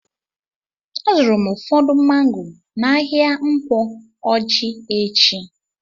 A zụrụ m ụfọdụ mango n'ahia Nkwo Ọjị echi.